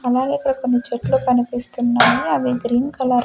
అలాగే ఇక్కడ కొన్ని చెట్లు కనిపిస్తున్నాయి అవి గ్రీన్ కలర్ --